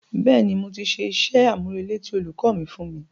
Bẹ́ẹ̀ni, mo ti ṣe iṣẹ́-àmúrelé tí olùkọ́ mi fún mi